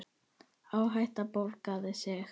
Áhættan borgaði sig.